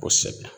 Kosɛbɛ